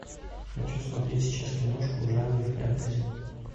хочу смотреть сейчас киношку в жанре фэнтези